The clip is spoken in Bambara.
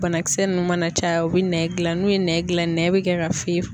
Banakisɛ nunnu mana caya u bɛ nɛn gilan n'u ye nɛn gilan nɛgɛ bi kɛ ka